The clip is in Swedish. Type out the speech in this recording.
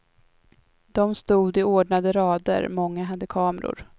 De stod i ordnade rader, många hade kameror.